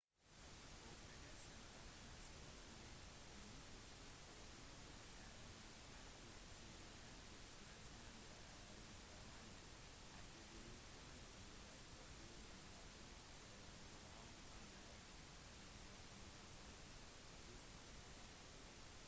oppdagelsen av hans grav i 1922 gjorde ham imidlertid til kjendis mens mange av gravene hadde blitt ranet i fortiden var dette gravkammeret igjen nærmest uforstyrret